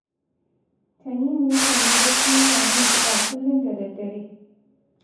Tanimu yakan yi bacci yana jin kiɗa kullun da daddare